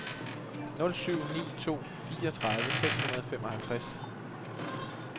nul syv ni to fireogtredive seks hundrede og femoghalvtreds